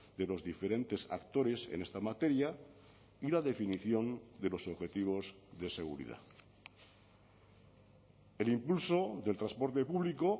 de los diferentes actores en esta materia y la definición de los objetivos de seguridad el impulso del transporte público